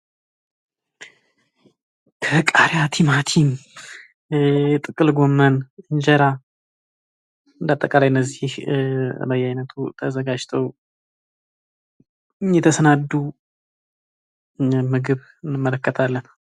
ከቃሪያ ቲማቲም ጥቅል ጎመን እንጀራ እንደ አጠቃላይ እነዚህ በየአይነቱ ተዘጋጅተው የተሰናዱ ምግብ እንመለከታለን።